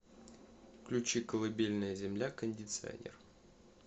включи колыбельная земля кондиционер